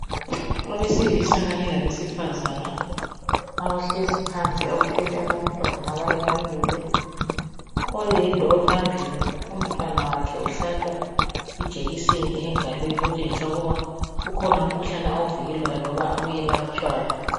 Abesilisa kanye labesifazana abehlezi phansi abathwele abantwana abanye bamile . Oyedwa ophambili umntwana wakhe uhlatshwa ijekiseni engalweni okutshengisa ukuba ukhona umkhuhlane awuvikelwayo awuyelatshwayo.